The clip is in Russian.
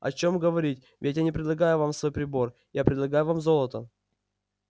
о чём говорить ведь я не предлагаю вам свой прибор я предлагаю вам золото